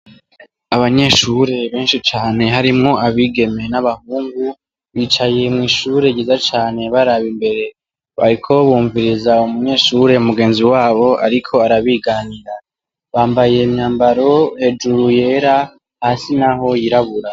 Abanyeshuri benshi cane harimwo abigeme n'abahungu, bicaye mw'ishure ryiza cane baraba imbere, bariko bumviriza umunyeshure mugenzi wabo ariko arabiganira, bambaye imyambaro hejuru yera, hasi naho yirabura.